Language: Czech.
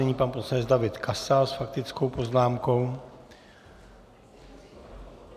Nyní pan poslanec David Kasal s faktickou poznámkou.